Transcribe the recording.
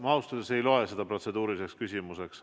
Ma ausalt öeldes ei loe seda protseduuriliseks küsimuseks.